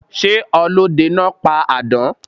Sé ọlódenáa pa àdán?